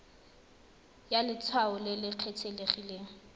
ya letshwao le le kgethegileng